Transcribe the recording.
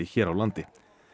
hér á landi